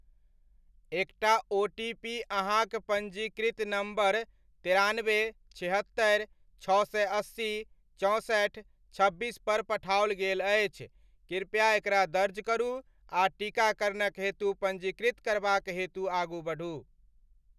एकटा ओटीपी अहाँक पञ्जीकृत नम्बर तेरानबे, छिहत्तरि, छओ सए अस्सी, चौंसठ, छब्बीस पर पठाओल गेल अछि, कृपया एकरा दर्ज करू आ टीकाकरणक हेतु पञ्जीकृत करबाक हेतु आगू बढ़ू।